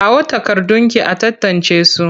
Kawo takardunki a tantancesu!